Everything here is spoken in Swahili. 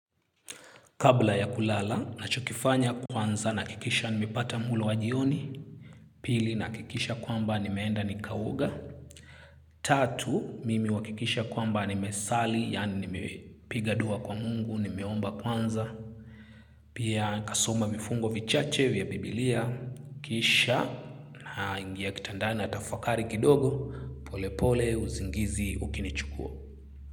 Kabla ya kulala, nachokifanya kwanza, nahakikisha nimepata mulo wa jioni, pili nahakikisha kwamba nimeenda nikaoga, tatu, mimi huhakikisha kwamba nimesali, yani nimepiga dua kwa Mungu, nimeomba kwanza, pia kasoma vifungo vichache vya biblia, kisha naingia kitandani natafakari kidogo, pole pole usingizi ukinichukua.